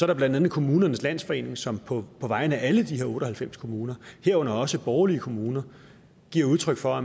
det blandt andet kommunernes landsforening som på vegne af alle de her otte og halvfems kommuner herunder også borgerlige kommuner giver udtryk for at